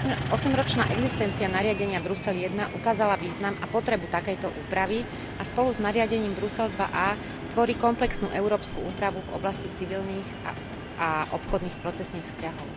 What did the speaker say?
Osemročná existencia nariadenia Brusel I ukázala význam a potrebu takejto úpravy a spolu s nariadením Brusel II a tvorí komplexnú európsku úpravu v oblasti civilných a obchodných procesných vzťahov.